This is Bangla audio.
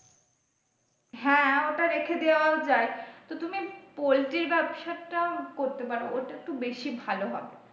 হ্যাঁ ওটা রেখে দেওয়াও যাই তো তুমি poultry র ব্যবসা টা করতে পারো ওটা একটু বেশি ভালো হবে ।